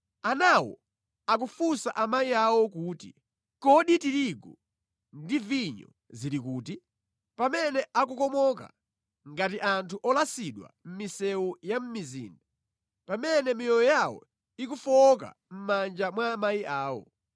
Anawo akufunsa amayi awo kuti, “Kodi tirigu ndi vinyo zili kuti?” pamene akukomoka ngati anthu olasidwa mʼmisewu ya mʼmizinda, pamene miyoyo yawo ikufowoka mʼmanja mwa amayi awo.